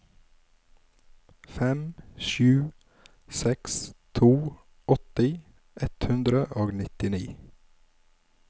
fem sju seks to åtti ett hundre og nittini